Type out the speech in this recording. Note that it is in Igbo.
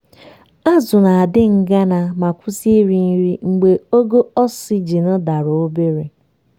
azụ na-adị ngana ma kwụsị iri nri mgbe ogo oxygen dara obere.